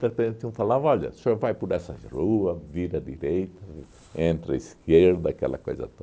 De repente um falava, olha, o senhor vai por essa rua, vira à direita, entra à esquerda, aquela coisa